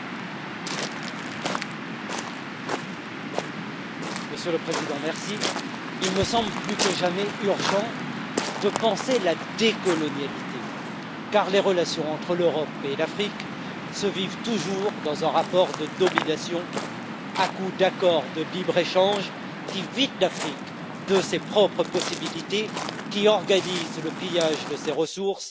Monsieur le Président, il me semble plus que jamais urgent de penser la décolonialité, car les relations entre l'Europe et l'Afrique se vivent toujours dans un rapport de domination, à coup d'accords de libre échange qui vident l'Afrique de ses propres possibilités, qui organisent le pillage de ses ressources et qui la livrent au jeu macabre des multinationales.